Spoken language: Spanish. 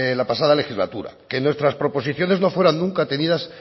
la pasada legislatura que nuestras proposiciones no fueran nunca tenidas